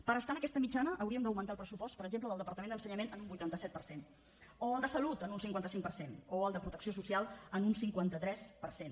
per estar en aquesta mitjana hauríem d’augmentar el pressupost per exemple del departament d’ensenyament en un vuitanta set per cent o el de salut en un cinquanta cinc per cent o el de protecció social en un cinquanta tres per cent